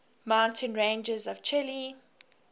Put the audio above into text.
mountain ranges of chile